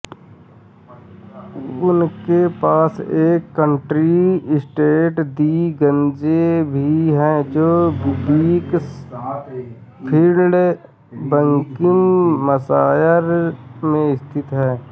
उनके पास एक कंट्री एस्टेट दी ग्रैंज भी है जो बीकंसफ़ील्ड बकिंघमशायर में स्थित है